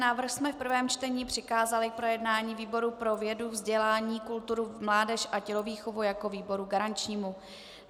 Návrh jsme v prvém čtení přikázali k projednání výboru pro vědu, vzdělání, kulturu, mládež a tělovýchovu jako výboru garančnímu.